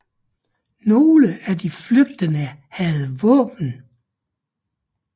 Nogle af de flygtende havde våben